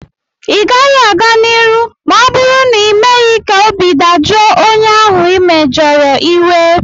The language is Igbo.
ị gaghị a-ga n'iru ma ọ bụrụ na ịmeghị ka obi dajụọ onye ahụ ị mejọrọ iwe